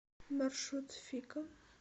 маршрут фика